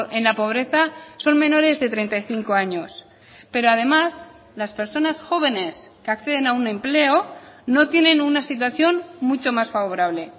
en la pobreza son menores de treinta y cinco años pero además las personas jóvenes que acceden a un empleo no tienen una situación mucho más favorable